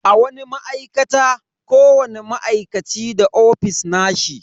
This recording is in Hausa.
A wani ma'aikata, kowani ma'aikaci da ofis nashi.